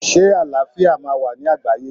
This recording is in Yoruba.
Ṣé àlàáfíà máa wà ní àgbáyé?